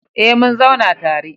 Eh mun zauna tare